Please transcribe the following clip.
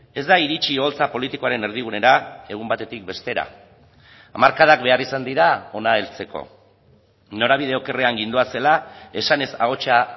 ez da iritzi oholtza politikoaren erdigunera egun batetik bestera hamarkadak behar izan dira hona heltzeko norabide okerrean gindoazela esanez ahotsa